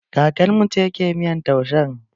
Kakar mu ce ke miyan taushen.